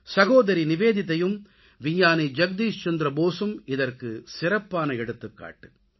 சகோதரி நிவேதிதாயும் விஞ்ஞானி ஜக்தீஷ் சந்திர போசும் இதற்கு சிறப்பான எடுத்துக்காட்டு